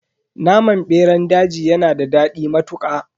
Naman beran daji yanada dadi matuka.